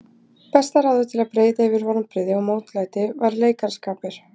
Besta ráðið til að breiða yfir vonbrigði og mótlæti var leikaraskapur.